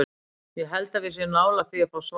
Ég held að við séum nálægt því að fá svar.